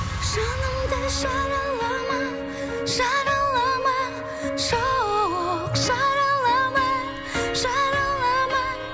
жанымды жаралама жаралама жоқ жаралама жаралама